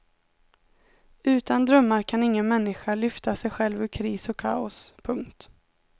Utan drömmar kan ingen människa lyfta sig själv ur kris och kaos. punkt